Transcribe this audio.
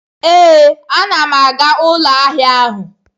Ee, a na m aga ụlọ ahịa ahụ.